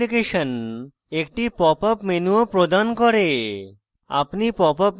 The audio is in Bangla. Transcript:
jmol অ্যাপ্লিকেশন একটি popup pop up menu ও প্রদান করে